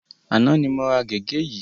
Àná ni mo ra gègé yìí.